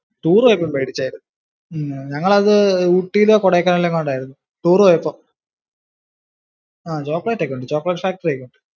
Tour പോയപ്പോ മേടിച്ചായിരുന്നു. ഊട്ടിയിലോ കൊടൈക്കനാലിലോ എങ്ങാണ്ടാരുന്നു tour പോയപ്പോ. ആഹ് chocolate ഒക്കെ മേടിച്ചു chocolate factory ഒക്കെ ഉണ്ടാരുന്നു.